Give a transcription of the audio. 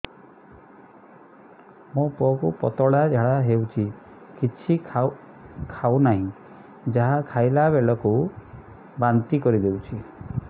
ମୋ ପୁଅ କୁ ପତଳା ଝାଡ଼ା ହେଉଛି କିଛି ଖାଉ ନାହିଁ ଯାହା ଖାଇଲାବେଳକୁ ବାନ୍ତି କରି ଦେଉଛି